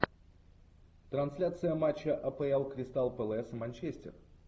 трансляция матча апл кристал пэлас манчестер